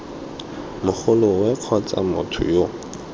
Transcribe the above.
mogoloo kgotsa gore motho yo